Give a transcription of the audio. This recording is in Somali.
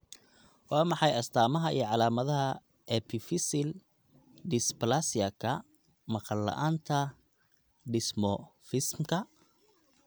Waa maxay astamaha iyo calaamadaha Epiphyseal dysplasiaka maqal la'aanta dysmorphismka?